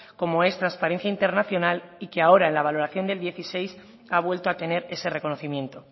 como es transparencia internacional y que ahora en la valoración del dieciséis ha vuelto a tener ese reconocimiento